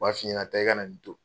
U b'a f'i ɲɛna taa i ka na nin don.